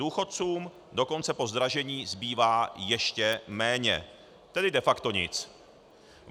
Důchodcům dokonce po zdražení zbývá ještě méně, tedy de facto nic.